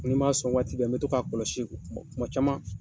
Ni n m'a sɔn waati bɛɛ, n mi to k'a kɔlɔsi kuma caman